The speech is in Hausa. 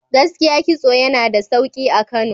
Gaskiya kitso yana da sauki a Kano.